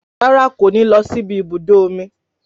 Rárá kò ní lọ sí ibi ibùdó omi